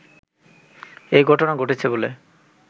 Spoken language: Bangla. এই ঘটনা ঘটেছে বলে